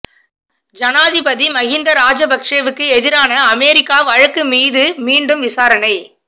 ஜனாதிபதி மகிந்த ராஜபக்ஷவுக்கு எதிரான அமெரிக்கா வழக்கு மீது மீண்டும் விசாரணை